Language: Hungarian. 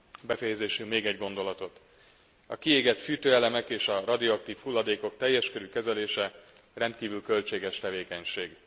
Befejezésül még egy gondolat a kiégett fűtőelemek és a radioaktív hulladékok teljes körű kezelése rendkívül költséges tevékenység.